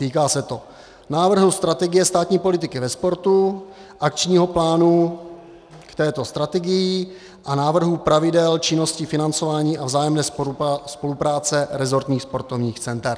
Týká se to návrhu strategie státní politiky ve sportu, akčního plánu k této strategii a návrhu pravidel činnosti, financování a vzájemné spolupráce resortních sportovních center.